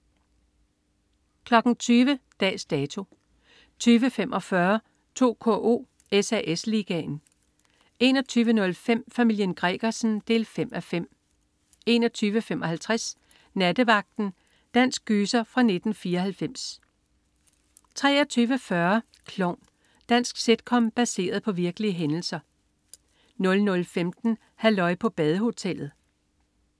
20.00 Dags Dato 20.45 2KO: SAS Ligaen 21.05 Familien Gregersen 5:5 21.55 Nattevagten. Dansk gyser fra 1994 23.40 Klovn. Dansk sitcom baseret på virkelige hændelser 00.15 Halløj på badehotellet